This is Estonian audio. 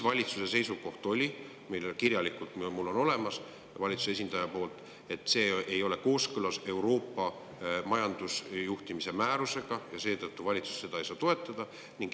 Valitsuse seisukoht, mis on kirjalikult mul olemas valitsuse esindajalt, oli, et see ei ole kooskõlas Euroopa majandusjuhtimise määrusega ja seetõttu valitsus seda ei saa toetada.